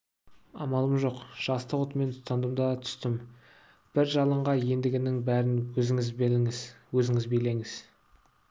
амалым жоқ жастық отымен тұтандым да түстім бір жалынға ендігінің бәрін өзіңіз біліңіз өзіңіз билеңіз